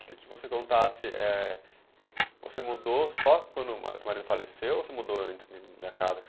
Queria que você contasse, é, você mudou só quando o seu marido faleceu ou você mudou antes da casa?